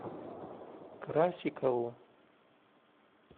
красикову